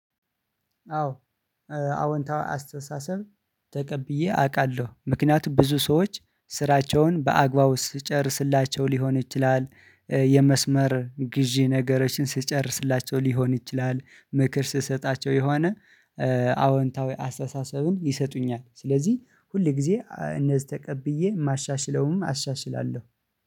አዎ። ኧ አዎንታዊ አስተሳሰብ ተቀብዬ አቃለሁ ምክንያቱም ብዙ ሰዎች ስራቸውን በአግባቡ ስትጨርስላቸው ሊሆን ይችላል። ኧ የመስመር ግዢ ነገሮችን ስትጨርስላቸው ሊሆን ይችላል ምክር ስሰጣቸው የሆነ አወንታዊ አስተሳሰብን ይሰጡኛል። ስለዚህ ሁል ጊዜ እነዚህ ተቀብዬ የማሻሽለውንም አሻሽላለሁ